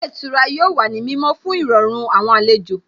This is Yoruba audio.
Ilé ìtura yóò wà ní mímọ́ fún Ìrọ̀rùn àwọn àlejò